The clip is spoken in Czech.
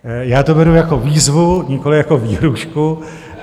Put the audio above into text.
Já to beru jako výzvu, nikoliv jako výhrůžku.